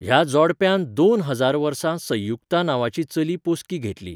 ह्या जोडप्यान दोन हजार वर्सा संयुक्ता नांवाची चली पोसकी घेतली.